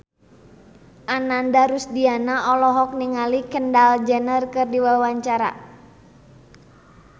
Ananda Rusdiana olohok ningali Kendall Jenner keur diwawancara